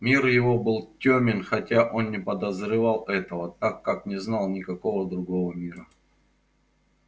мир его был тёмен хотя он не подозревал этого так как не знал никакого другого мира